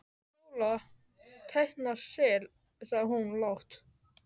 Sóla teikna sel, sagði hún lágt.